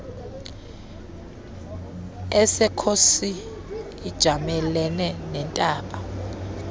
esekhosi ijamelene nentaba